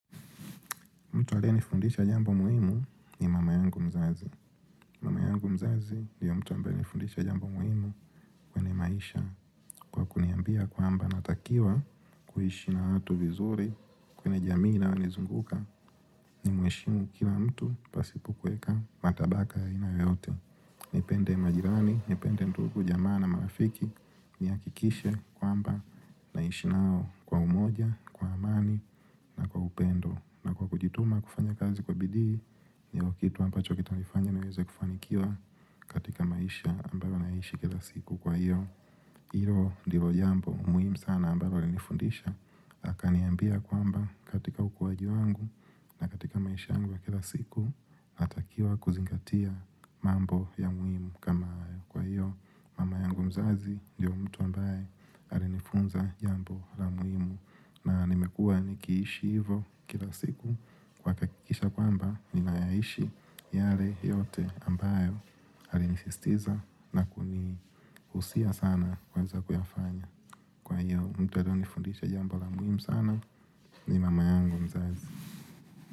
Mtu aliye nifundisha jambo muhimu ni mama yangu mzazi. Mama yangu mzazi ni mtu ambayr alinifundisha jambo muhimu kwenye maisha. Kwa kuniambia kwamba natakiwa kuiishi na watu vizuri kwenye jamii na waliozunguka. Ni mheshimu kila mtu pasipo kueka matabaka ya aina yote. Nipende majirani, nipende ndugu, jamaa na marafiki. Nihakikishe kwamba naishi nao kwa umoja, kwa amani na kwa upendo. Na kwa kujituma kufanya kazi kwa bidii, ni kitu ambacho kitanifanya niweze kufanikiwa katika maisha ambayo naishi kila siku jwa hiyo hilo ndilo jambo muhimu sana ambalo alinifundisha. Akaniambia kwamba katika ukuwajiwa wangu na katika maisha yangu ya kila siku natakiwa kuzingatia mambo ya muhimu kama kwa hiyo mama yangu mzazi ndyo mtu ambaye alinifunza jambo la muhimu. Na nimekua nikiishi hivo kila siku kwa kuhakikisha kwamba ninayaishi yale yote ambayo alinisistiza na kugusia sana kuanza kuyafanya. Kwa hiyo mtu anayonifundisha jambo la muhimu sana ni mama yangu mzazi.